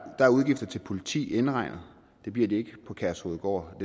er udgifterne til politi indregnet det bliver de ikke på kærshovedgård og